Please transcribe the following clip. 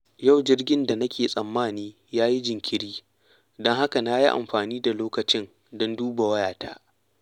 Yau jirgin da nake tsammani ya yi jinkiri, don haka na yi amfani da lokacin don duba wayata.